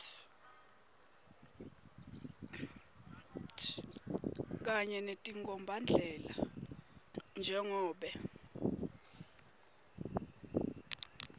kanye netinkhombandlela njengobe